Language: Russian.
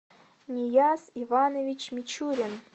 нияз иванович мичурин